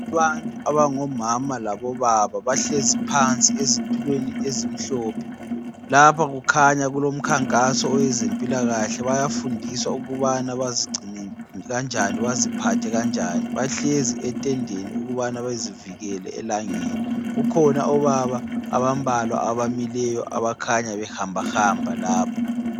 Abantu abangomama labobaba bahlezi phansi ezitulweni ezimhlophe, lapha kukhanya kulomkhankaso owezempilakahle bayafundiswa ukubana bazigcine kanjani, baziphathe kanjani bahlezi etendeni ukubana bezivikele elangeni. Kukhona obaba abambalwa abamileyo abakhanya behambahamba lapha.